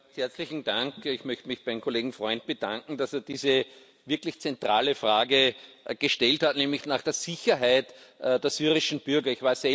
Frau Präsidentin! Ich möchte mich beim Kollegen Freund bedanken, dass er diese wirklich zentrale Frage gestellt hat, nämlich nach der Sicherheit der syrischen Bürger.